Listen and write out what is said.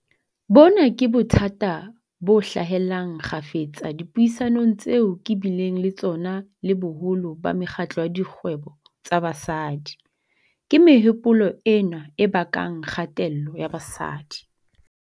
Bona ke bothata bo hlahellang kgafetsa dipuisanong tseo ke bileng le tsona le boholo ba mekgatlo ya dikgwebo tsa basadi. Ke mehopolo ena e bakang kgatello ya basadi.